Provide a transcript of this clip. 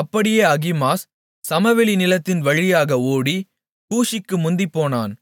அப்படியே அகிமாஸ் சமவெளி நிலத்தின் வழியாக ஓடி கூஷிக்கு முந்திப்போனான்